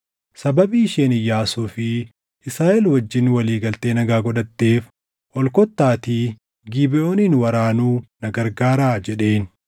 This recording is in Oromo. “Sababii isheen Iyyaasuu fi Israaʼel wajjin walii galtee nagaa godhatteef ol kottaatii Gibeʼoonin waraanuu na gargaaraa” jedheen.